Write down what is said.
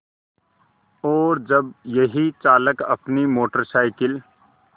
और जब यही चालक अपनी मोटर साइकिल